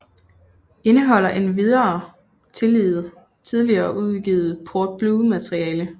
Indeholder endvidere tidligere uudgivet Port Blue materiale